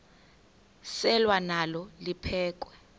selwa nalo liphekhwe